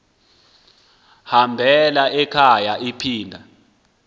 hambela ekhaya iphinda